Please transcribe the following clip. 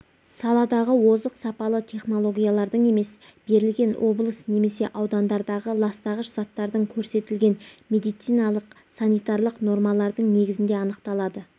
саладағы озық сапалы технологиялардың емес берілген облыс немесе аудандардағы ластағыш заттардың көрсетілген медициналық-санитарлық нормалардың негізінде анықталады